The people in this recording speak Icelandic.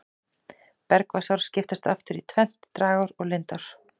Bergvatnsár skiptast aftur í tvennt, dragár og lindár.